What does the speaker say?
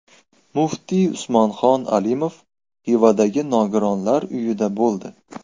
Muftiy Usmonxon Alimov Xivadagi nogironlar uyida bo‘ldi.